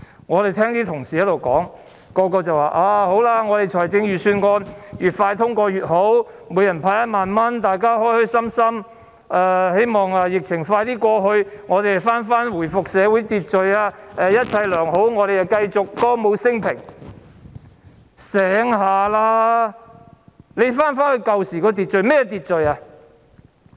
我們聽到同事發言說預算案越快通過越好，可向每人派發1萬元，大家開開心心，希望疫情盡快過去，我們回復社會秩序，一切良好，我們繼續歌舞昇平——清醒一點，你們要回到以往的秩序，那是甚麼秩序？